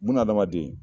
Bunahadamaden